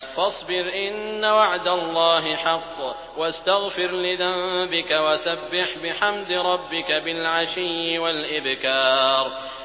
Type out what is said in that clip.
فَاصْبِرْ إِنَّ وَعْدَ اللَّهِ حَقٌّ وَاسْتَغْفِرْ لِذَنبِكَ وَسَبِّحْ بِحَمْدِ رَبِّكَ بِالْعَشِيِّ وَالْإِبْكَارِ